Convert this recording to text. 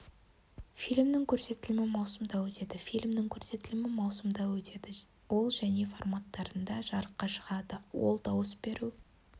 фильмнің көрсетілімі маусымда өтеді фильмнің көрсетілімі маусымда өтеді ол және форматтарында жарыққа шығады ол дауыс беру